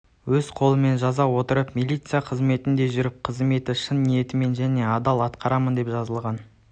өз қолыммен жаза отыра милиция қызметінде жүріп қызметті шын ниетіммен және адал атқарамын деп жазылған